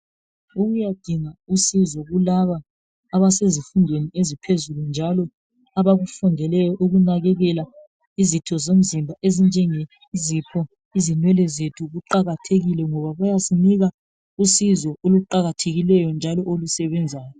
UkuyadInga usizo kulaba abasezifundweni eziphezulu njalo abakufundeleyo ukunakekela izitho zomzimba ezinjenge zipho ,izinwele zethu kuqakathekile ngoba kuyasinika usizo oluqakathekileyo njalo olusebenzayo.